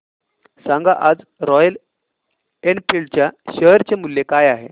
सांगा आज Royal Enfield च्या शेअर चे मूल्य काय आहे